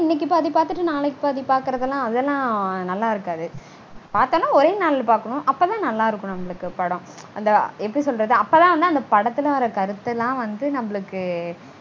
இன்னைக்கு பாதி பாத்துட்டு நாளைக்கு பாதி பாக்கறதுலாம் நல்லா இருக்காது. பாக்கறதுனா ஓரே நாள்ல பாக்கனும். அப்போதா நல்லா இருக்கும் நம்மளுக்கு படம். அப்போதா வந்து அந்த படத்துல வர கருத்துலாம் வந்து நம்மளுக்கு